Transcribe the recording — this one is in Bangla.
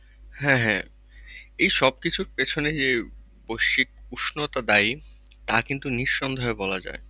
হ্যাঁ হ্যাঁ এই সব কিছুর পিছনে যে, বৈশ্বিক উষ্ণতা দায়ী তা কিন্তু নিঃসন্দেহে বলা যায়।